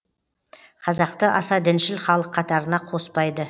қазақты аса діншіл халық қатарына қоспайды